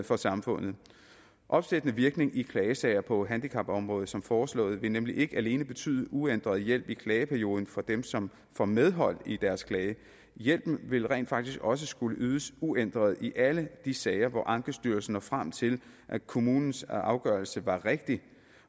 for samfundet opsættende virkning i klagesager på handicapområdet som foreslået vil nemlig ikke alene betyde uændret hjælp i klageperioden for dem som får medhold i deres klage hjælpen vil rent faktisk også skulle ydes uændret i alle de sager hvor ankestyrelsen når frem til at kommunens afgørelse var rigtig